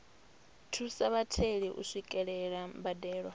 thusa vhatheli u swikelela mbadelo